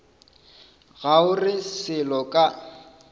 ga o re selo ka